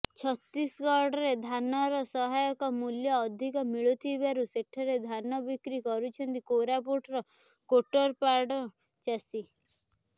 ଛତିଶଗଡରେ ଧାନର ସହାୟକ ମୂଲ୍ୟ ଅଧିକ ମିଳୁଥିବାରୁ ସେଠାରେ ଧାନ ବିକ୍ରି କରୁଛନ୍ତି କୋରାପୁଟ କୋଟପାଡର ଚାଷୀ